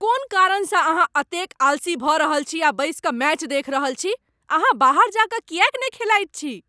कोन कारणसँ अहाँ एतेक आलसी भऽ रहल छी आ बैसि कऽ मैच देखि रहल छी? अहाँ बाहर जा कऽ किएक ने खेलाइत छी?